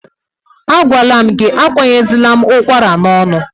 Agwala m gị, akwanyezila m ụkwara n'ọnụ!